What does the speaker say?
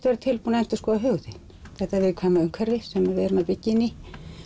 vera tilbúin að endurskoða hug þinn þetta viðkvæma umhverfi sem við erum að byggja inn í